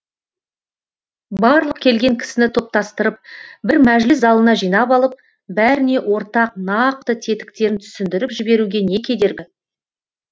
барлық келген кісіні топтастырып бір мәжіліс залына жинап алып бәріне ортақ нақты тетіктерін түсіндіріп жіберуге не кедергі